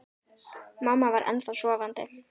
Mamma var ennþá sofandi.